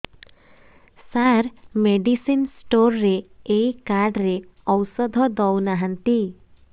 ସାର medicine store ରେ ଏଇ card ରେ ଔଷଧ ଦଉନାହାନ୍ତି